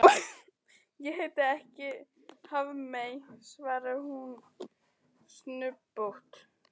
Ég heiti ekki Hafmey, svarar hún snubbótt.